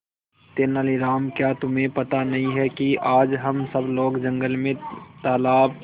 तेनालीराम क्या तुम्हें पता नहीं है कि आज हम सब लोग जंगल में तालाब